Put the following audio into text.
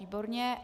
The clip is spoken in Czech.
Výborně.